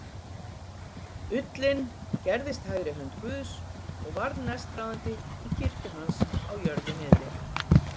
ullinn gerðist hægri hönd guðs og varð næstráðandi í kirkju hans á jörðu niðri.